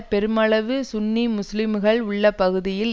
பெருமளவு சுன்னி முஸ்லிம்கள் உள்ள பகுதியில்